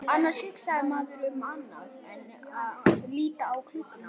Annars hugsaði maður um annað en að líta á klukkuna.